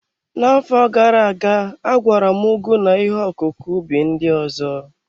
N'afọ gara aga, agwara m ugu na ihe ọkụkụ ubi ndị ọzọ.